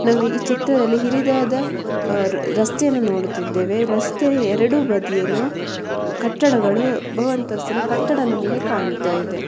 ಈ ಚಿತ್ರದಲ್ಲಿ ನಾವು ಹಿರಿದಾದ ರಸ್ತೆಯನ್ನು ನೋಡುತ್ತಿದ್ದೇವೆ ರಸ್ತೆ ಎರಡು ಬದಿಯಲ್ಲೂ ಕಟ್ಟಡಗಳು ಬಹು ಅಂತಸ್ತಿನ ಕಟ್ಟಡ ನಮಗೆ ಕಾಣತ್ತಿದೆ.